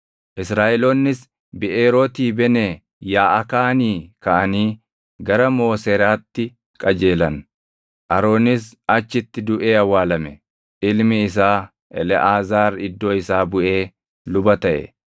Israaʼeloonnis Biʼeerooti Benee Yaaʼakaanii kaʼanii gara Mooseraatti qajeelan. Aroonis achitti duʼee awwaalame; ilmi isaa Eleʼaazaar iddoo isaa buʼee luba taʼe.